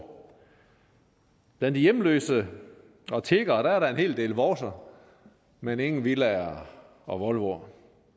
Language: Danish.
blandt hjemløse og tiggere er der en hel del vovser men ingen villaer og volvoer